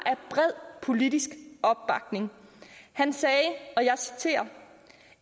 bred politisk opbakning han sagde og jeg citerer